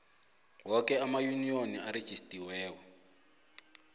woke amayuniyoni arejistariweko